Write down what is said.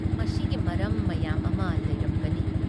ꯃꯁꯤꯒꯤ ꯃꯔꯝ ꯃꯌꯥꯝ ꯑꯃ ꯂꯩꯔꯝꯒꯅꯤ ꯫